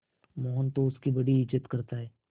मोहन तो उसकी बड़ी इज्जत करता है